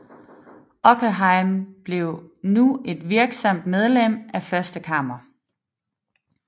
Åkerhielm blev nu et virksomt medlem af Første Kammer